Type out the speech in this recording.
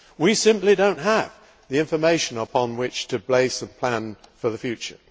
we simply do not have the information upon which to base a plan for the future.